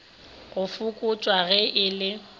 go fokotšwa ge e le